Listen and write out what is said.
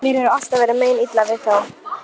Ég vissi að þú mundir læra að skilja mig.